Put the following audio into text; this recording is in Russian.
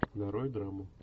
нарой драму